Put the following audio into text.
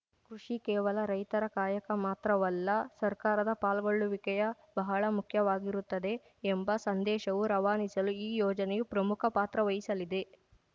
ಕೃಷಿ ಕೇವಲ ರೈತರ ಕಾಯಕ ಮಾತ್ರವಲ್ಲ ಸರ್ಕಾರದ ಪಾಲ್ಗೊಳ್ಳುವಿಕೆಯ ಬಹಳ ಮುಖ್ಯವಾಗಿರುತ್ತದೆ ಎಂಬ ಸಂದೇಶವು ರವಾನಿಸಲು ಈ ಯೋಜನೆಯು ಪ್ರಮುಖ ಪಾತ್ರವಹಿಸಲಿದೆ